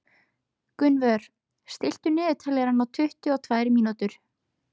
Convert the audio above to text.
Gunnvör, stilltu niðurteljara á tuttugu og tvær mínútur.